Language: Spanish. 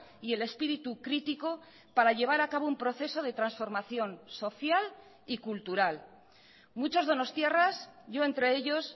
y el espíritu crítico para llevar a cabo un proceso de transformación social y cultural muchos donostiarras yo entre ellos